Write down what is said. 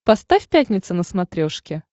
поставь пятница на смотрешке